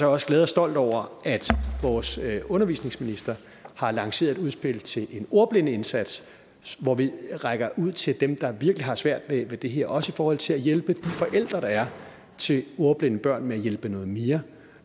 også glad og stolt over at vores undervisningsminister har lanceret et udspil til en ordblindeindsats hvor vi rækker ud til dem der virkelig har svært ved det her også i forhold til at hjælpe de forældre der er til ordblinde børn med at hjælpe noget mere